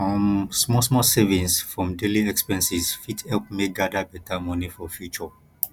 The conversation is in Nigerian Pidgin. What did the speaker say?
um small small savings from daily expenses fit help me gather better money for future